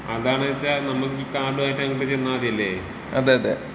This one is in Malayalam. അതാണ് ന്ന് വെച്ച നമ്മക്ക് ഈ കാര്‍ഡുമായിട്ട് അങ്ങട്ട് ചെന്നാ മതില്ലെ.